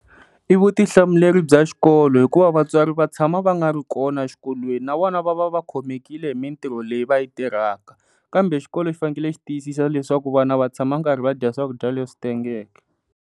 I vutihlamuleri bya xikolo hikuva vatswari va tshama va nga ri kona xikolweni na vona va va khomekile hi mintirho leyi va yi tirhaka, kambe xikolo xi fanele ku tiyisisa leswaku vana va tshama karhi va dya swakudya leswi tengeke.